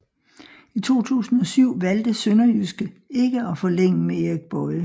I 2007 valgte SønderjyskE ikke at forlænge med Erik Boye